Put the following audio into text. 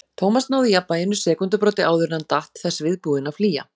Thomas náði jafnvæginu sekúndubroti áður en hann datt, þess viðbúinn að flýja.